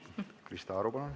Krista Aru, palun!